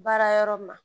Baara yɔrɔ ma